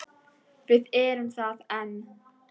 Við erum það enn.